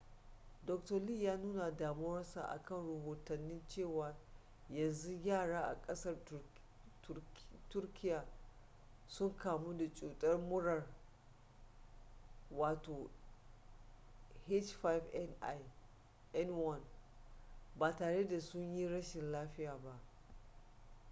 dr. lee ya nuna damuwarsa akan rahotanni cewa yanzu yara a ƙasar turkiya sun kamu da cutar murar ah5n1 ba tare da sun yi rashin lafiya ba